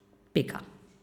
Pika.